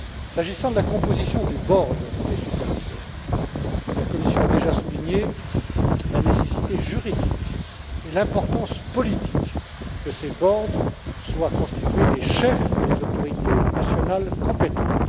S'agissant de la composition du board des superviseurs, la Commission a déjà souligné la nécessité juridique et l'importance politique que ces boards soient constitués des chefs des autorités nationales compétentes.